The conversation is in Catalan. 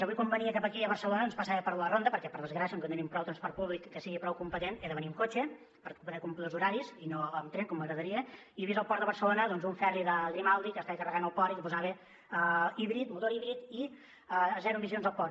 avui quan venia cap aquí a barcelona passava per la ronda perquè per desgràcia com que no tenim prou transport públic que sigui prou competent he de venir en cotxe per poder complir els horaris i no amb tren com m’agradaria i he vist al port de barcelona un ferri de grimaldi que estava carregant al port i que posava motor híbrid i zero emissions al port